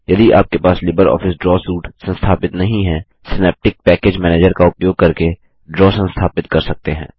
यदि आपके पास लिबर ऑफिस ड्रा सूट संस्थापित नहीं है सिनैप्टिक पैकेज मैनेजर का उपयोग करके ड्रा संस्थापित कर सकते हैं